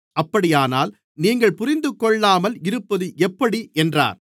அப்படியானால் நீங்கள் புரிந்துகொள்ளாமல் இருப்பது எப்படி என்றார்